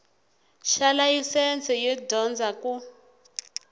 xa layisense yo dyondza ku